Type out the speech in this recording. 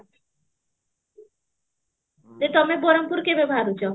ତମେ ବରହମପୁର କେବେ ବାହାରୁଚ